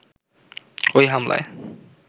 ওই হামলায়